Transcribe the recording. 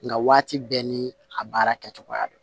Nka waati bɛɛ ni a baara kɛ cogoya don